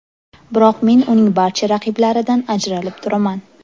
Biroq men uning barcha raqiblaridan ajralib turaman.